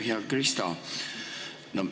Hea Krista!